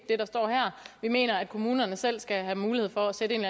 det der står her vi mener at kommunerne selv skal have mulighed for at sætte en